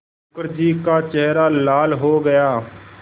मुखर्जी का चेहरा लाल हो गया